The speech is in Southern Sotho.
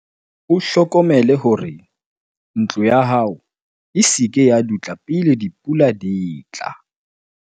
o hlokomele hore ntlo ya hao e se ke ya dutla pele dipula di tla